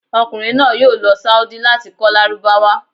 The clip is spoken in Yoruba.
Ọmọkunrin naa yoo lọ saodi lati kọ lárúbáwá